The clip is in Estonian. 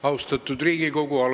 Austatud Riigikogu!